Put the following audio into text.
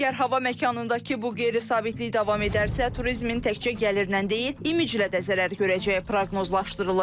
Əgər hava məkanındakı bu qeyri-sabitlik davam edərsə, turizmin təkcə gəlirlə deyil, imiclə də zərər görəcəyi proqnozlaşdırılır.